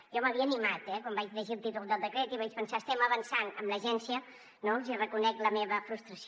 jo m’havia animat eh quan vaig llegir el títol del decret i vaig pensar estem avançant amb l’agència no els hi reconec la meva frustració